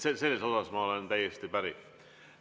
Sellega ma olen täiesti päri.